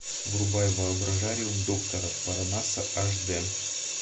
врубай воображариум доктора парнаса аш дэ